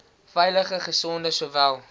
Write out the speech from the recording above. veilige gesonde sowel